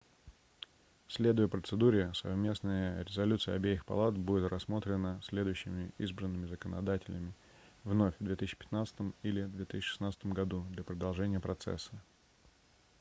следуя процедуре совместная резолюция обеих палат будет рассмотрена следующими избранными законодателями вновь в 2015 или 2016 году для продолжения процесса